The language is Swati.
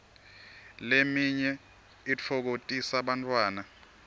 leminye itfokotisa bantfwana